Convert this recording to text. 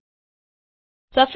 હું તેને લાલથી બદલીશ